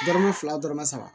Dɔrɔmɛ fila dɔrɔmɛ saba